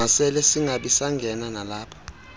masele singabisangena nalapha